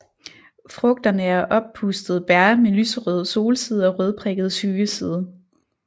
Frugterne er oppustede bær med lyserød solside og rødprikket skyggeside